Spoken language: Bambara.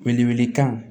Wele wele kan